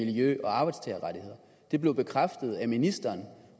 miljø og arbejdstagerrettigheder det blev bekræftet af ministeren